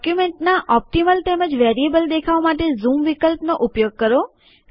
ડોક્યુમેન્ટનાં optimal તેમજ variable દેખાવ માટે ઝૂમ વિકલ્પનો ઉપયોગ કરો